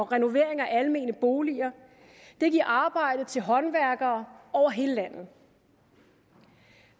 renovering af almene boliger det giver arbejde til håndværkere over hele landet